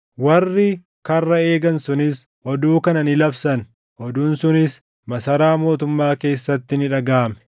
Warri karra eegan sunis oduu kana ni labsan; oduun sunis masaraa mootummaa keessatti ni dhagaʼame.